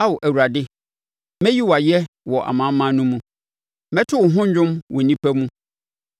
Ao Awurade, mɛyi wo ayɛ wɔ amanaman no mu; mɛto wo ho dwom wɔ nnipa mu.